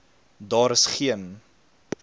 daar is geen